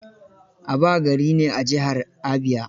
Aba gari ne a jihar Abia.